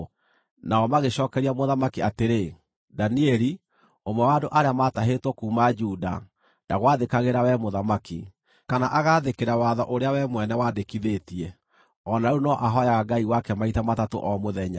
Nao magĩcookeria mũthamaki atĩrĩ, “Danieli, ũmwe wa andũ arĩa maatahĩtwo kuuma Juda, ndagwathĩkagĩra wee mũthamaki, kana agaathĩkĩra watho ũrĩa wee mwene wandĩkithĩtie. O na rĩu no ahooyaga Ngai wake maita matatũ o mũthenya.”